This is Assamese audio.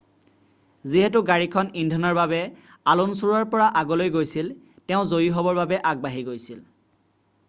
যিহেতু গাড়ীখন ইন্ধনৰ বাবে আলুনছুৰ পৰা আগলৈ গৈছিল তেওঁ জয়ী হ'বৰ বাবে আগবাঢ়ি গৈছিল